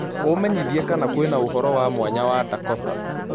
umenyĩthĩe kana kwĩnaũhoro wa mwanya wa dakota